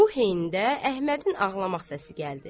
Bu heydə Əhmədin ağlamaq səsi gəldi.